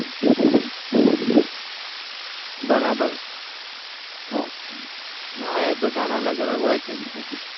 બરાબર ઉહ હા એ બધા ના અલગ અલગ હોય છે interest.